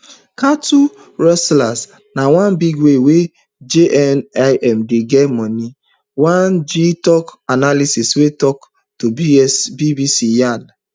cattlerustling na one big way wey jnim dey get money one gitoc analyst wey tok to bbc yarn